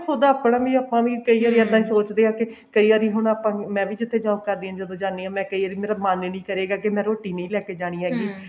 ਖੁੱਦ ਆਪਣਾ ਵੀ ਆਪਾਂ ਵੀ ਕਈ ਵਾਰੀ ਇੱਦਾਂ ਸੋਚਦੇ ਹਾਂ ਕੀ ਕਈ ਵਾਰੀ ਹੁਣ ਆਪਾਂ ਮੈਂ ਵੀ ਜਿੱਥੇ job ਕਰਦੀ ਹਾਂ ਜਦੋਂ ਜਾਂਦੀ ਹਾਂ ਮੈਂ ਕਈ ਵਾਰੀ ਮੇਰਾ ਮਨ ਨੀ ਕਰੇਗਾ ਕੀ ਮੈਂ ਰੋਟੀ ਨਹੀਂ ਲੇਕੇ ਜਾਣੀ ਹੈਗੀ